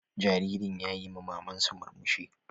Jaririn yayi ma maman sa murmushi.